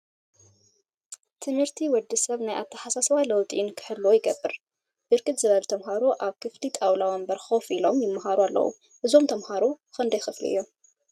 ትምህርቲ ትምህርቲ ወዲ ሰብ ናይ አተሓሳስባ ለውጢ ንክህሉ ይገብር፡፡ ብርክት ዝበሉ ተምሃሮ አብ ክፍሊ ጣውላ ወንበር ኮፍ ኢሎም ይመሃሩ አለው፡፡ እዞም ተምሃሮ ክንደይ ክፍሊ እዮም?